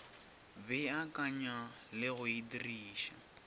beakanya le go e diriša